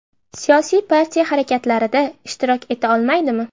Siyosiy partiya harakatlarida ishtirok eta olmaydimi?